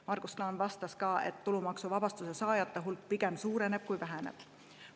Margus Klaan pakkus ka, et tulumaksuvabastuse saajate hulk pigem suureneb kui väheneb.